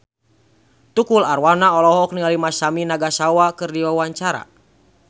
Tukul Arwana olohok ningali Masami Nagasawa keur diwawancara